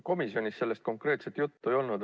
Komisjonis sellest konkreetselt juttu ei olnud.